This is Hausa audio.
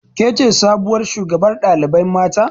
Kece sabuwar shugabar ɗalibai mata